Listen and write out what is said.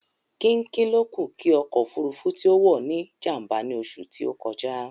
Kínkín lókù kí ọkọ̀ òfúrufú tí ó wọ̀ ní jàm̀bà ní oṣù tí ó kọjá